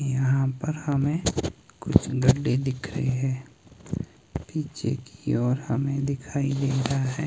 यहां पर हमें कुछ गड्ढे दिख दे रहे हैं पीछे की ओर हमें दिखाई दे रहा है।